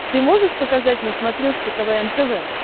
ты можешь показать на смотрешке квн тв